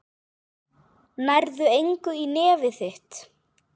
Nærðu engu í nefið þitt.